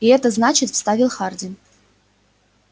и это значит вставил хардин